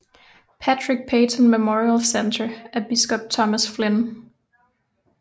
Patrick Peyton Memorial Centre af biskop Thomas Flynn